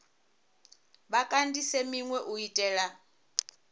vha kandise minwe u itela